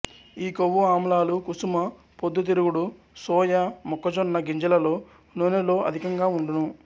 ఈకొవ్వుఆమ్లాలు కుసుమ పొద్దుతిరుగుడు సొయా మొక్కజొన్నగింజలలో నూనెలో అధికంగా ఉండును